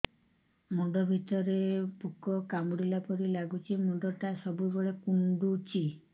ମୁଣ୍ଡ ଭିତରେ ପୁକ କାମୁଡ଼ିଲା ପରି ଲାଗୁଛି ମୁଣ୍ଡ ଟା ସବୁବେଳେ କୁଣ୍ଡୁଚି